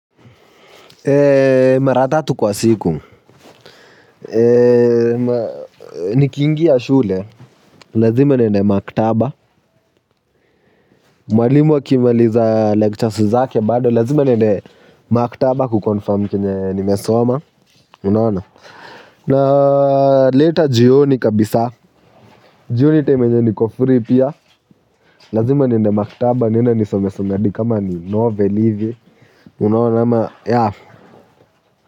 Eee, mara tatu kwa siku. Eee, nikiingia shule. Lazima niende maktaba. Mwalimu akimaliza lectures zake bado, lazima niende maktaba kuconfirm chenye nimesoma. Unaona? Naleta jioni kabisa. Jioni time yenye niko free pia. Lazima niende maktaba, niende nisomesome hadi kama ni novel hivi. Unaona ama, ya. Ha ha ha ha.